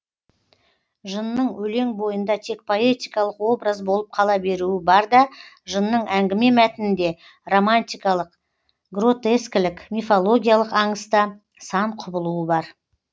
жынның өлең бойында тек поэтикалық образ болып қала беруі бар да жынның әңгіме мәтінінде романтикалық гротескілік мифологиялық аңыста сан құбылуы бар